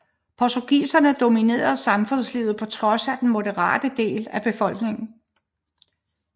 Portugisere dominere samfundslivet på trods af den moderate del af befolkningen